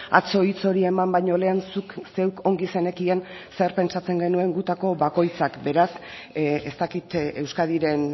atzo hitz hori eman baino lehen zuk zeuk ongi zenekien zer pentsatzen genuen gutako bakoitzak beraz ez dakit euskadiren